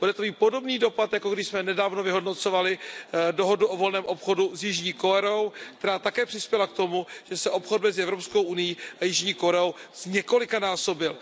Bude to mít podobný dopad, jako když jsme nedávno vyhodnocovali dohodu o volném obchodu s Jižní Koreou, která také přispěla k tomu, že se obchod mezi EU a Jižní Koreou zněkolikanásobil.